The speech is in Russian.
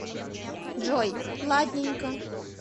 джой ладненько